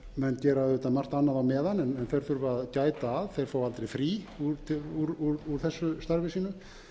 menn gera auðvitað margt annað á meðan en þeir þurfa að gæta að þeir fá aldrei frí úr þessu starfi sínu